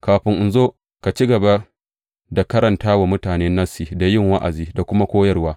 Kafin in zo, ka ci gaba da karanta wa mutane Nassi, da yin wa’azi, da kuma koyarwa.